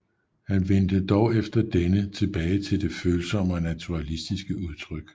Han vendte dog efter denne tilbage til det følsomme og naturalistiske udtryk